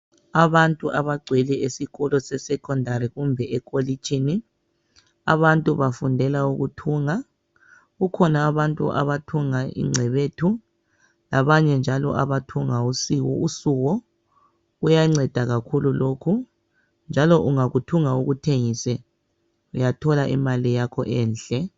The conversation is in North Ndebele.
Abantu abagcwele esikolo sesekhondari kumbe ekolitshini. Abantu bafundela ukuthunga. Kukhona abantu abathunga ingcebethu labanye njalo abathunga usuwo. Kuyanceda kakhulu lokhu njalo ungakuthunga ukuthengise uyathola imali yakho enhle.